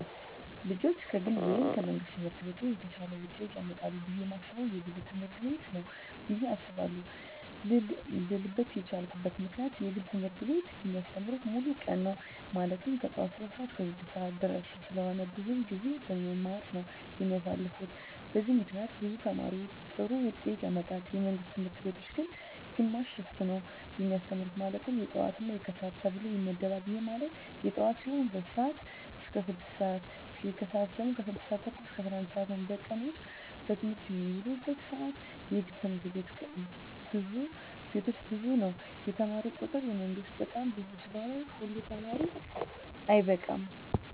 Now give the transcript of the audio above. ልጆች ከግል ወይም ከመንግሥት ትምህርት ቤቶች የተሻለ ውጤት ያመጣሉ ብየ የማስበው የግል ትምህርት ቤቶችን ነው ብየ አስባለው ልልበት የቻልኩት ምክንያት የግል ትምህርት ቤቶች የሚያስተምሩት ሙሉ ቀን ነው ማለትም ከጠዋቱ 3:00 ሰዓት እስከ 9:30 ድረስ ስለሆነ ብዙውን ጊዜያቸውን በመማማር ነው የሚያሳልፉት በዚህም ምክንያት ብዙ ተማሪ ጥሩ ውጤት ያመጣል። የመንግስት ትምህርት ቤቶች ግን ግማሽ ሽፍት ነው የሚያስተምሩ ማለትም የጠዋት እና የከሰዓት ተብሎ ይመደባል ይህም ማለት የጠዋት ሲሆኑ 2:00 ስዓት እስከ 6:00 ሲሆን የከሰዓት ሲሆኑ ደግሞ 6:30 እስከ 11:00 ነው በቀን ውስጥ በትምህርት የሚውሉበት ሰዓት የግል ትምህርት ቤቶች ብዙ ነው የተማሪ ቁጥሩ የመንግስት በጣም ብዙ ስለሆነ ሁሉ ተማሪ አይበቃም።